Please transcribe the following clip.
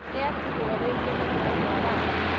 nĩatigwo rĩngĩ nĩ mwendwa wake